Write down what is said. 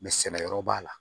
Mɛ sɛnɛyɔrɔ b'a la